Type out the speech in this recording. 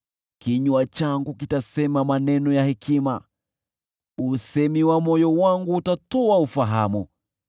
Kinywa changu kitasema maneno ya hekima, usemi wa moyo wangu utatoa ufahamu.